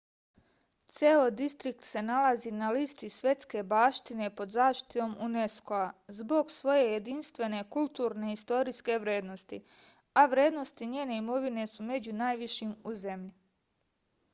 ceo distrikt se nalazi na listi svetske baštine pod zaštitom unesco-a zbog svoje jedinstvene kulturne i istorijske vrednosti a vrednosti njene imovine su među najvišim u zemlji